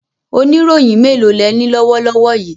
Oníròyìn mélòó lẹní lọ́wọ́ lọ́wọ́ yìí?